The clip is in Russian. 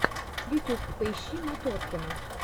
ютюб поищи моторкину